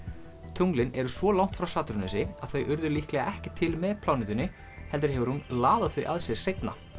tunglin eru svo langt frá Satúrnusi að þau urðu líklegast ekki til með plánetunni heldur hefur hún laðað þau að sér seinna